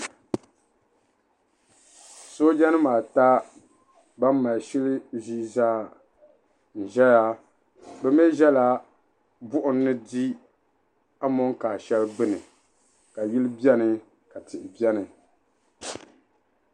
Sooja nima ata ban mali shili ʒee zaa n zaya bɛ mee zala buɣim n di amonkaa sheli gbini ka yili biɛni ka tihi biɛni.